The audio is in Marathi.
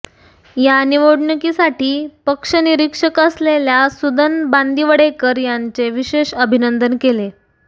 या निवडणुकीसाठी पक्षनिरीक्षक असलेल्या सुदन बांदिवडेकर यांचे विशेष अभिनंदन केले